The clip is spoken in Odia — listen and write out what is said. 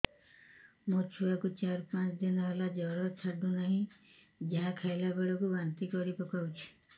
ମୋ ଛୁଆ କୁ ଚାର ପାଞ୍ଚ ଦିନ ହେଲା ଜର ଛାଡୁ ନାହିଁ ଯାହା ଖାଇଲା ବେଳକୁ ବାନ୍ତି କରି ପକଉଛି